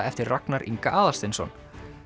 eftir Ragnar Inga Aðalsteinsson